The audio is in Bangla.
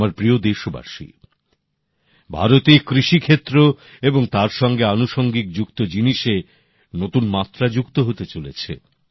আমার প্রিয় দেশবাসী ভারতে কৃষিক্ষেত্র এবং তার সঙ্গে আনুষঙ্গিক যুক্ত জিনিসে নতুন মাত্রা যুক্ত হতে চলেছে